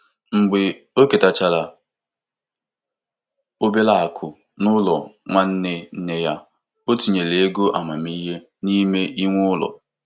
O bufere ego dum o ketara tinye na pọtụfoliyo ntinye ego dị dị iche iche iji kwalite nlọghachi ego.